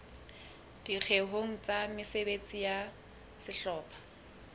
dikgeong tsa mesebetsi ya sehlopha